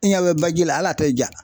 I ɲa bɛ baji la hal'a tɛ ja.